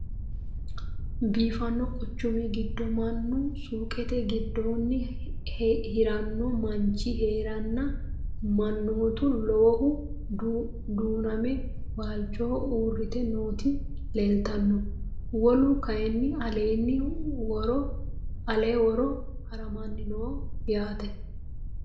Biiffanno quchummi giddo mannu suuqqette giddonni hiranno manchi heerenna manoottu lowohu duuname walichoho uuritte nootti leelittanno. Wolu kayiinni alenna woro harammanni noo yaatte.